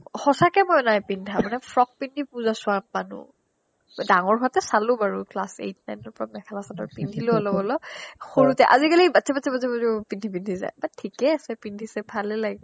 সচাকে মই নাই পিন্ধা মানে frock পিন্ধি পুজা ছোৱা মানুহ ডাঙৰ হওতে চালো বাৰো class eight nine ৰ পৰা মেখেলা চাডৰ পিন্ধিলো অলপ অলপ সৰুতে অজিকালি বাচ্চা বাচ্চা বাচ্চা বাচ্চা পিন্ধি পিন্ধি যাই অ ঠিকেই আছে বাৰু পিন্ধিচে ভালে লাগিছে